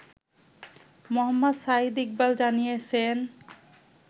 মোহাম্মদ সাঈদ ইকবাল জানিয়েছেন